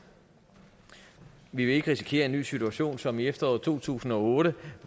vi vil ikke risikere en ny situation som i efteråret to tusind og otte